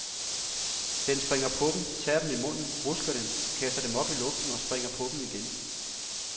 Den springer på dem, tager dem i munden, rusker dem, kaster dem op i luften og springer på dem igen.